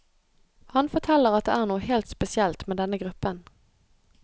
Han forteller at det er noe helt spesielt med denne gruppen.